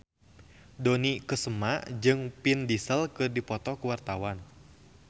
Dony Kesuma jeung Vin Diesel keur dipoto ku wartawan